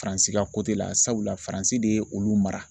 Faransi ka la sabula Faransi de ye olu mara.